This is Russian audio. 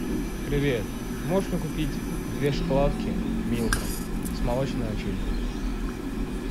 привет можешь мне купить две шоколадки милка с молочной начинкой